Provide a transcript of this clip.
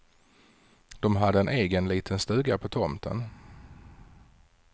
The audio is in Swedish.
De hade en egen liten stuga på tomten.